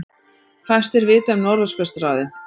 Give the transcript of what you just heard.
Fæstir vita um Norðurskautsráðið